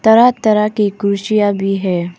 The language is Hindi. तरह तरह की कुर्सियां भी है।